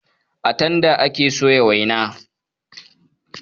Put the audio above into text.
A tanda ake soya waina.